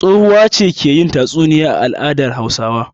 Tsohuwa ce ke yin tatsuniya a al'adar Hausawa.